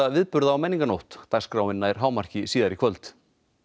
viðburða á menningarnótt dagskráin nær hámarki síðar í kvöld